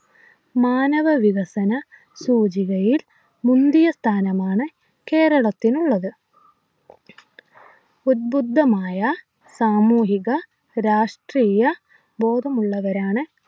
മാനവ വികസന സൂചികയിൽ മുന്തിയസ്ഥാനമാണ് കേരളത്തിനുള്ളത് ഉദ്ബുദ്ധമായ സാമൂഹിക രാഷ്ട്രീയ ബോധമുള്ളവരാണ്